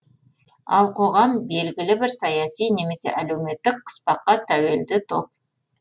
ал қоғам белігілі бір саяси немесе әлеуметтік қыспаққа тәуелді топ